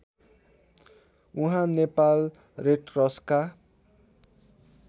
उहाँ नेपाल रेडक्रसका